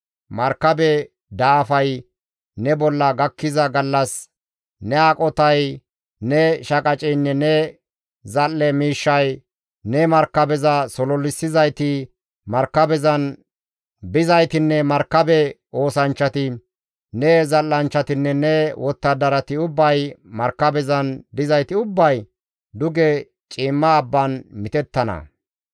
Markabe daafay ne bolla gakkiza gallas ne aqotay, ne shaqaceynne ne zal7e miishshay, ne markabeza sololissizayti, markabezan bizaytinne markabe oosanchchati, ne zal7anchchatinne ne wottadarati ubbay, markabezan dizayti ubbay, duge ciimma abban mitettana.